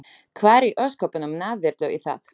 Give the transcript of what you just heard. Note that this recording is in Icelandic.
Hvar í ósköpunum náðirðu í það?